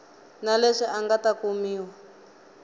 na leswi nga ta kumiwa